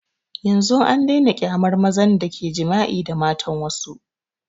Yanzun an daina kyamar mazan da ke jima'i da matan wassu